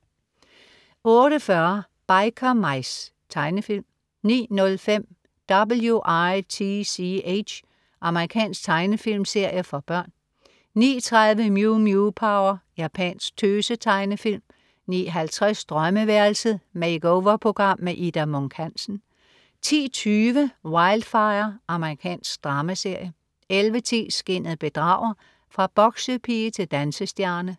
08.40 Biker Mice. Tegnefilm 09.05 W.i.t.c.h. Amerikansk tegnefilmserie for børn 09.30 Mew Mew Power. Japansk tøse-tegnefilm 09.50 Drømmeværelset. Makeover-program. Ida Munk Hansen 10.20 Wildfire. Amerikansk dramaserie 11.10 Skinnet bedrager. Fra boksepige til dansestjerne